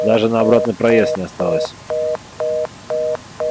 даже на обратный проезд не осталось